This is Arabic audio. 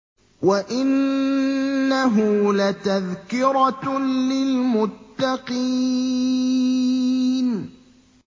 وَإِنَّهُ لَتَذْكِرَةٌ لِّلْمُتَّقِينَ